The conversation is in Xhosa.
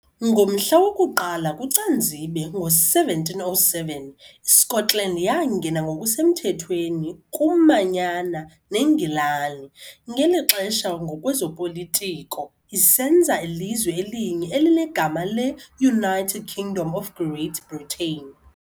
Ngomhla woku-1 kuCanzibe ngo-1707 iScotland yangena ngokusemthethweni kumanyana neNgilani, ngeli xesha ngokwezopolitiko, isenza ilizwe elinye elinegama le-United Kingdom of Great Britain.